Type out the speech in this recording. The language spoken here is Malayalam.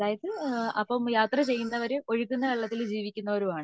അതായത് അപ്പോ യാത്ര ചെയ്യുന്നവർ ഒഴുകുന്ന വെള്ളത്തിൽ ജീവിക്കുന്നവരും ആണ്